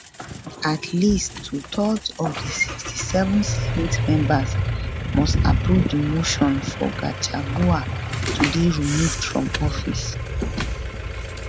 at least twothirds of di 67 senate members must approve di motion for gachagua to dey removed from office